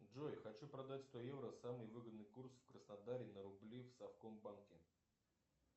джой хочу продать сто евро самый выгодный курс в краснодаре на рубли в совкомбанке